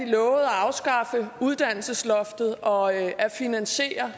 lovede at afskaffe uddannelsesloftet og at finansiere